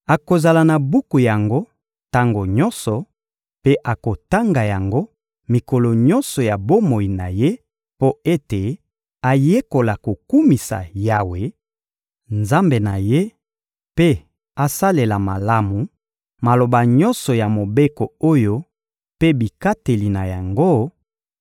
Akozala na buku yango tango nyonso mpe akotanga yango mikolo nyonso ya bomoi na ye mpo ete ayekola kokumisa Yawe, Nzambe na ye, mpe asalela malamu maloba nyonso ya Mobeko oyo mpe bikateli na yango;